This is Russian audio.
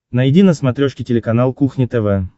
найди на смотрешке телеканал кухня тв